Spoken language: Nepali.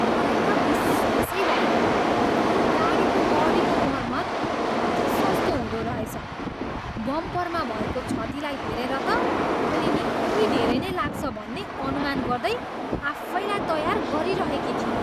मलाई त विश्वासै भएन यो गाडीको बडीको मर्मत कति सस्तो हुँदोरहेछ! बम्परमा भएको क्षतिलाई हेरेर त मैले निकै धेरै नै लाग्छ भन्ने अनुमान गर्दै आफैँलाई तयार गरिरहेकी थिएँ।